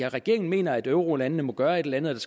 regeringen mener at eurolandene må gøre et eller andet